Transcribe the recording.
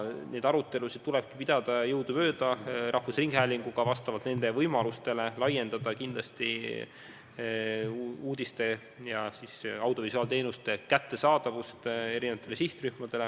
Neid arutelusid tuleks pidada jõudumööda rahvusringhäälinguga ja vastavalt nende võimalustele laiendada uudiste ja muude audiovisuaalteenuste kättesaadavust erinevatele sihtrühmadele.